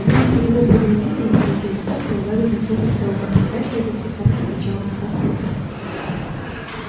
ну и при его программировании третий закон был задан особо строго кстати это специально отмечалось в проспектах